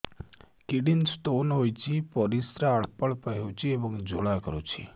kidney stone ହୋଇଛି ପରିସ୍ରା ଅଳ୍ପ ଅଳ୍ପ ହେଉଛି ଏବଂ ଜ୍ୱାଳା କରୁଛି